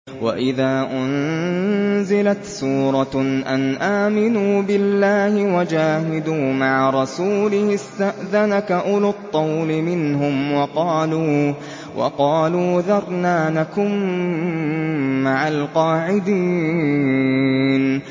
وَإِذَا أُنزِلَتْ سُورَةٌ أَنْ آمِنُوا بِاللَّهِ وَجَاهِدُوا مَعَ رَسُولِهِ اسْتَأْذَنَكَ أُولُو الطَّوْلِ مِنْهُمْ وَقَالُوا ذَرْنَا نَكُن مَّعَ الْقَاعِدِينَ